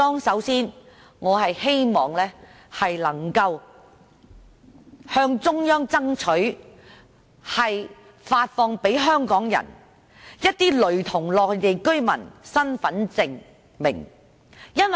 首先，我希望能夠向中央爭取為香港人發放一些類似內地居民身份證的身份證明。